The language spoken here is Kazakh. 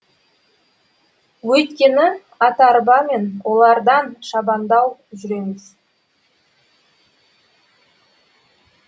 өйткені ат арбамен олардан шабандау жүреміз